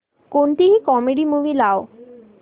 कोणतीही comedy movie लाव